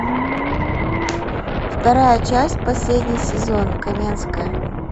вторая часть последний сезон каменская